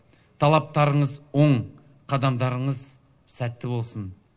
талаптарыңыз оң қадамдарыңыз сәтті болсын